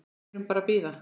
Við erum bara að bíða.